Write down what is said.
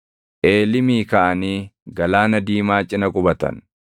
Eelimii kaʼanii Galaana Diimaa cina qubatan.